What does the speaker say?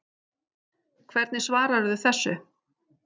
Hvernig svararðu þessu